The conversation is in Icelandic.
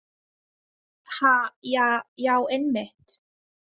Ha, ja, já, einmitt.